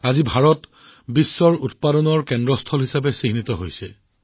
আজি ভাৰত বিশ্বৰ সৰ্ববৃহৎ উৎপাদন কেন্দ্ৰ হিচাপে পৰিগণিত হৈছে